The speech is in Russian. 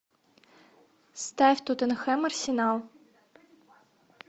ставь тоттенхэм арсенал